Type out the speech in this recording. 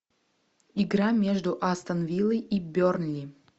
игра между астон виллой и бернли